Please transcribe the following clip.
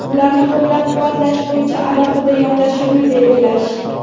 ularni qo‘llab-quvvatlash bo‘yicha alohida yondashuvni belgilash.